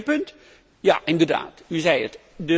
Het tweede punt ja, inderdaad, u zei het.